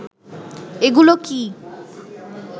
এগুলো কি